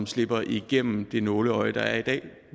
slipper igennem det nåleøje der er i dag